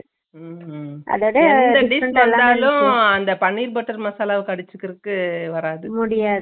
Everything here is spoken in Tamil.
உம்உம் எந்த dish சப்பட்டாலும் அதாவது எந்த dish சப்பட்டாலும் அந்த பனீர் butter மசாலா அடிச்சுகிறதுக்கு வராது